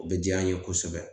O bɛ diya an ye kosɛbɛ